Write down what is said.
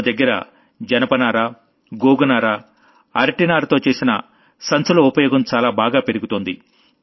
మన దగ్గర జూట్ వి నారవి అరటి నారతో చేసినవి ఇలాంటి సంప్రదాయికమైన వస్తువులతో చేసిన బ్యాగుల ఉపయోగం చాలా బాగా పెరుగుతోంది